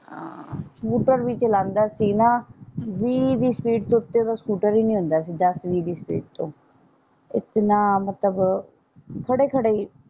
ਹਾਂ ਸਕੂਟਰ ਵੀ ਚਲਾਂਦਾ ਸੀ ਨਾ ਵੀਹ ਦੀ ਸਪੀਡ ਤੋਂ ਉੱਤੇ ਸਕੂਟਰ ਵੀ ਨਹੀਂ ਹੁੰਦਾ ਸੀ ਦੱਸ ਵੀਹ ਦੀ ਸਪੀਡ ਤੋਂ ਇਤਨਾ ਮਤਲਬ ਥੋੜੇ ਥੋੜੇ ਈ।